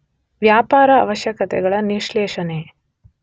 ವ್ಯಾಪಾರ ಅವಶ್ಯಕತೆಗಳ ವಿಶ್ಲೇಷಣೆ.